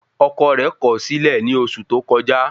Ọkọ rẹ̀ kọ̀ ọ́ sílẹ̀ ní oṣù tó kọjá